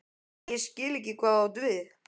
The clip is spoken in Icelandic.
Ég skil ekki hvað þú átt við?